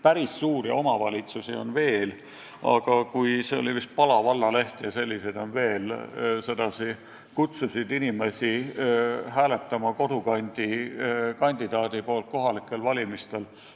Päris suuri omavalitsusi on veel ja see oli vist Pala valla leht – ja selliseid on veel –, mis kutsus inimesi hääletama kohalikel valimistel kodukandi kandidaadi poolt.